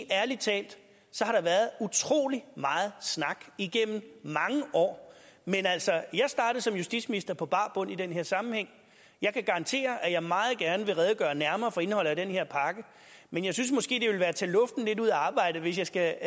ærlig talt har der været utrolig meget snak igennem mange år men altså jeg startede som justitsminister på bar bund i den her sammenhæng jeg kan garantere at jeg meget gerne vil redegøre nærmere for indholdet af den her pakke men jeg synes måske at være at tage luften lidt ud af arbejdet hvis jeg skal